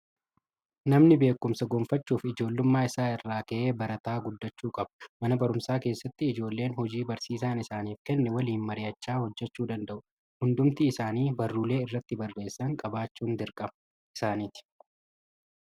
Namni beekumsa gonfachuuf, ijoollummaa isaa irraa ka'ee barataa guddachuu qaba. Mana barumsaa keessatti ijoolleen hojii barsiisaan isaaniif kenne waliin mari'achaa hojjechuu danda'u. Hundumti isaanii barruulee irratti barreessan qabaachuun dirqama isaaaniti.